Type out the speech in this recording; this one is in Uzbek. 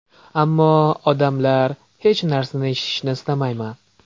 Ammo... odamlar... Hech narsani eshitishni istamayman!